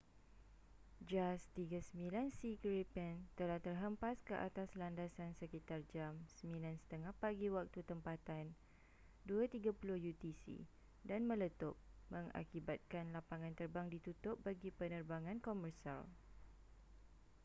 jas 39c gripen telah terhempas ke atas landasan sekitar jam 9:30 pagi waktu tempatan 0230 utc dan meletup mengakibatkan lapangan terbang ditutup bagi penerbangan komersial